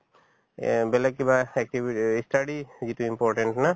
এহ্, বেলেগ কিবা activities ই study যিটো important হয় না